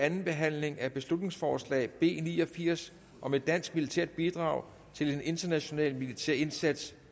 anden behandling af beslutningsforslag b ni og firs om et dansk militært bidrag til en international militær indsats